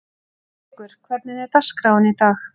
Eyríkur, hvernig er dagskráin í dag?